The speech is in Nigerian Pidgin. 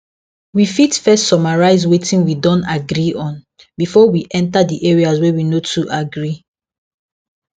we fit first summarize wetin we don agree on before we enter the areas wey we no too agree